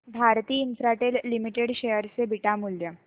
Bharti Infratel limited share चे beta मूल्य